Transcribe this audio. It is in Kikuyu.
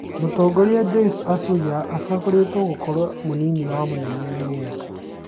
Mũtanzania Joyce Msuya acagũrĩtwe gũkorwo mũnini wa mũnene UNEP